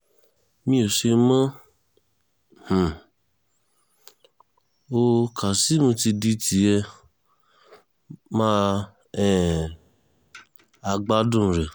mi ò ṣe mọ um ọ́ kazeem ti di tiẹ̀ mà um á gbádùn rẹ̀